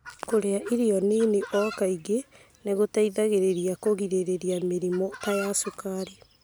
Kũrĩa irio nini no kaingĩ nĩ gũteithagia kũgirĩrĩria mĩrimũ ta ya cukari.